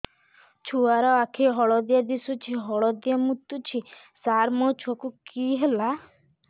ଛୁଆ ର ଆଖି ହଳଦିଆ ଦିଶୁଛି ହଳଦିଆ ମୁତୁଛି ସାର ମୋ ଛୁଆକୁ କି ହେଲା